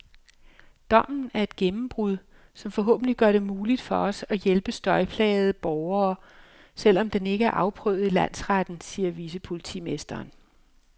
Dommen er et gennembrud, som forhåbentlig gør det muligt for os at hjælpe støjplagede borgere, selv om den ikke er afprøvet i landsretten, siger vicepolitimesteren.